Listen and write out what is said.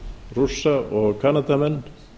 rússa og kanadamenn